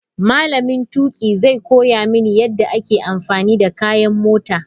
Malamin tuƙi zai koya mini yadda ake amfani da kayan mota.